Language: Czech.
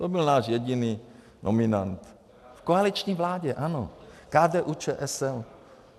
To byl náš jediný nominant v koaliční vládě, ano, KDU-ČSL.